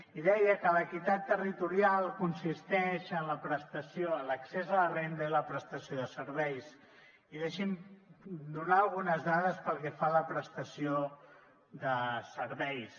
i deia que l’equitat territorial consisteix en l’accés a la renda i la prestació de serveis i deixi’m donar algunes dades pel que fa a la prestació de serveis